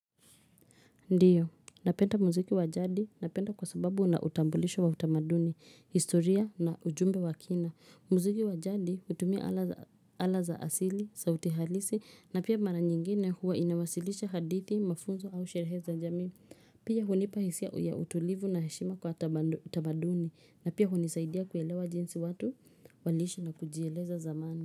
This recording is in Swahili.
Ndiyo napenda muziki wa jadi napenda kwa sababu una utambulisho wa utamaduni historia na ujumbe wa kina muziki wa jadi hutumia ala za asili sauti halisi na pia mara nyingine huwa inawasilisha hadithi mafunzo au sherehe za jamii pia hunipa hisia ya utulivu na heshima kwa utamaduni na pia hunisaidia kuelewa jinsi watu waliishi na kujieleza zamani.